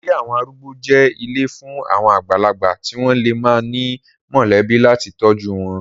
Ilé àwọn arúgbó jẹ́ ilé fún àwọn àgbàlagbà tí wọ́n lè má ní mọ̀lẹ́bí láti tọ́jú wọn.